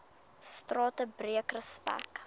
strate breek respek